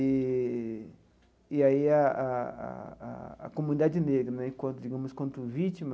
E e aí a a a a a comunidade negra né, quanto digamos, quanto vítima,